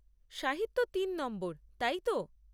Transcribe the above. সাহিত্য তিন নম্বর, তাই তো?